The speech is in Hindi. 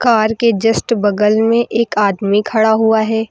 कार के जस्ट बगल में एक आदमी खड़ा हुआ है।